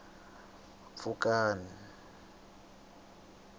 pfukani